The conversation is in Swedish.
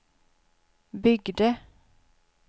byggde